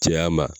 Cɛya ma